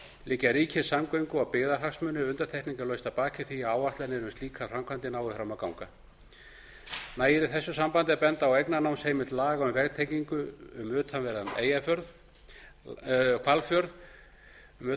liggja ríkir samgöngu og byggðahagsmunir undantekningarlaust að baki því að áætlanir um slíkar framkvæmdir nái fram að ganga nægir í þessu samhengi að benda á eignarnámsheimild laga um vegtengingu um